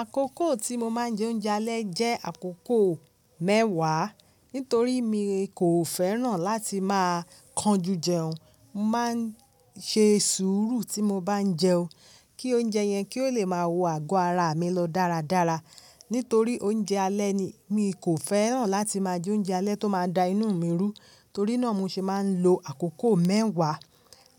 Àkókò tí mo máa ń jẹ oúnjẹ alẹ́ jẹ́ àkókò mẹ́wàá nítorí mi kò fẹ́ràn láti máa kanjú jẹun. Mo máa ń ṣe sùúrù tí mo bá ń jẹun kí oúnjẹ yẹn kí ó le máa wọ àgọ́ ara à mi lọ dáradára. Nítorí oúnjẹ alẹ́ ni, mi kò fẹ́ràn láti máa jẹ oúnjẹ alẹ́ tó máa da inú mi rú. Torí náà mo ṣe máa ń lo àkókò mẹ́wàá